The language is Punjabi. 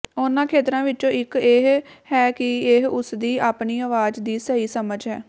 ਉਨ੍ਹਾਂ ਖੇਤਰਾਂ ਵਿੱਚੋਂ ਇੱਕ ਇਹ ਹੈ ਕਿ ਇਹ ਉਸਦੀ ਆਪਣੀ ਆਵਾਜ਼ ਦੀ ਸਹੀ ਸਮਝ ਹੈ